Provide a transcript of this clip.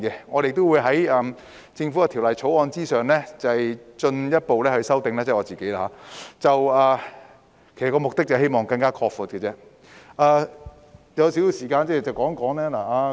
我亦會在政府的《條例草案》之上進一步提出修訂，目的是希望進一步擴闊海外醫生進入香港的途徑。